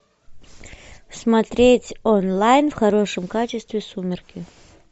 смотреть онлайн в хорошем качестве сумерки